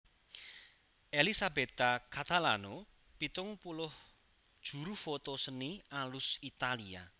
Elisabetta Catalano pitung puluh juru foto seni alus Italia